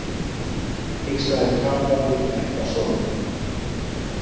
hikstaði Kata milli ekkasoganna.